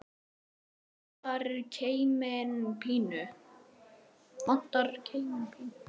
Vandar keiminn pínu.